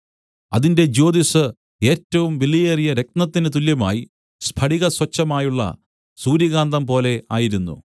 അതിന്റെ ജ്യോതിസ്സ് ഏറ്റവും വിലയേറിയ രത്നത്തിന് തുല്യമായി സ്ഫടികസ്വച്ഛമായുള്ള സൂര്യകാന്തംപോലെ ആയിരുന്നു